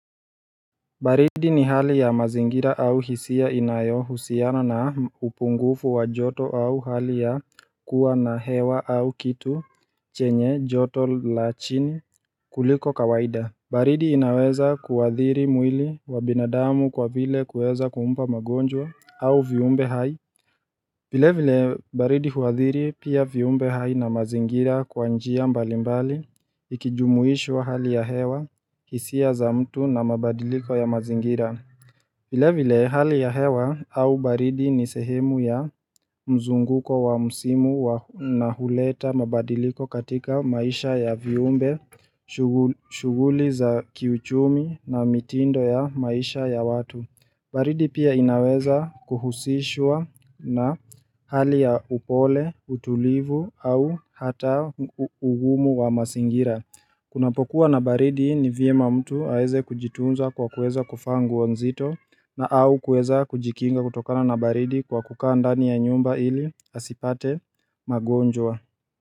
Baridi ni hali ya mazingira au hisia inayohusiana na upungufu wa joto au hali ya kuwa na hewa au kitu chenye joto la chini kuliko kawaida baridi inaweza kuathiri mwili wa binadamu kwa vile kuweza kumpa magonjwa au viumbe hai vile vile baridi huwathiri pia viumbe hai na mazingira kwa njia mbalimbali ikijumuishwa hali ya hewa hisia za mtu na mabadiliko ya mazingira. Vile vile hali ya hewa au baridi ni sehemu ya mzunguko wa msimu na huleta mabadiliko katika maisha ya viumbe shughuli za kiuchumi na mitindo ya maisha ya watu. Baridi pia inaweza kuhusishwa na hali ya upole, utulivu au hata ugumu wa mazingira Kunapokuwa na baridi ni vyema mtu aeze kujitunza kwa kueza kuvaa nguo nzito na au kueza kujikinga kutokana na baridi kwa kukaa ndani ya nyumba ili asipate magonjwa.